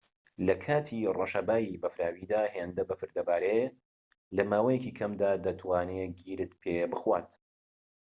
لەکاتی ڕەشەبای بەفراویدا هێندە بەفر دەبارێت لەماوەیەکی کەمدا دەتوانێت گیرت پێبخوات